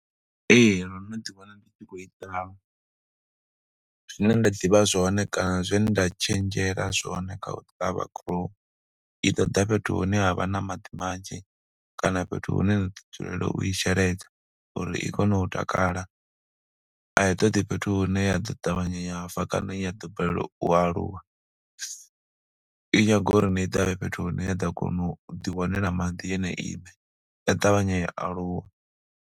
Ee ndo no ḓiwana ndi tshi khou ita, zwine nda ḓivha zwone kana zwe nda tshenzhela zwone kha u ṱavha gurowu i ṱoḓa fhethu hune ha vha na maḓi manzhi kana fhethu hune nda ḓo dzulela u i sheledza uri i kone u takala, a i toḓi fhethu hune ya ḓo ṱavhanya ya fa kana ya ḓo balelwa u aluwa. I nyaga uri ni i ṱavhe fhethu hune ya ḓo kona u ḓiwanela maḓi yone iṋe ya ṱavhanya u aluwa.